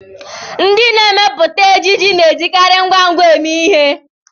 Ndị na-emepụta ejiji na-ejikarị ngwa ngwa eme ihe